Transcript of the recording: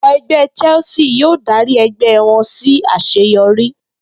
Ikọ̀ ẹgbẹ́ Chelsea yóò dárí ẹgbẹ́ wọn sí àṣeyọrí